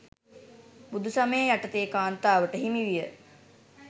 බුදු සමය යටතේ කාන්තාවට හිමි විය.